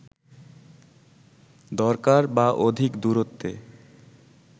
দরকার বা অধিক দূরত্বে